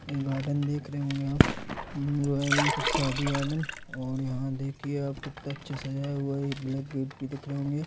गार्डन देख रहे होंगे आप शादी गार्डन और यहां देखिये आप कितना अच्छा सजाया हुआ है ये बड़े गिफ्ट भी दिख रहे होंगे--